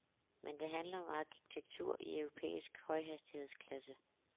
Men det handler om arkitektur i europæisk højhastighedsklasse.